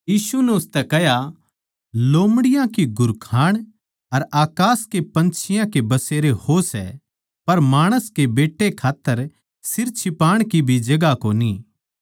यीशु नै उसतै कह्या लोमड़ियां की घुरखाण अर अकास के पन्छियाँ के बसेरे हो सै पर माणस के बेट्टे खात्तर सिर छिपाण की भी जगहां कोनी